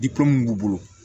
mun b'u bolo